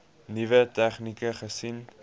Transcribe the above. nuwe tegnieke gesien